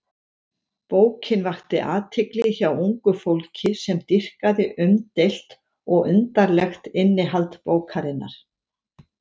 Bókin vakti athygli hjá ungu fólki sem dýrkaði umdeilt og undarlegt innihald bókarinnar.